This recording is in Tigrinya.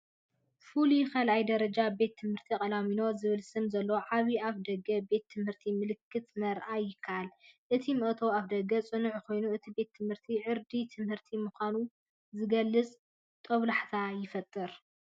"ፍሉይ ካልኣይ ደረጃ ቤት ትምህርቲ ቃላሚኖ" ዝብል ስም ዘለዎ ዓቢ ኣፍደገ ቤት ምህርትን ምልክትን ምርኣይ ይከኣል። እቲ መእተዊ ኣፍደገ ጽኑዕ ኮይኑ፡ እቲ ቤት ትምህርቲ ዕርዲ ትምህርቲ ምዃኑ ዝገልጽ ጦብላሕታ ይፈጥር።